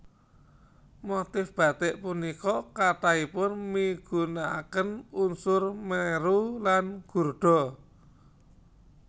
Motif batik punika kathahipun migunakaken unsur mèru lan gurda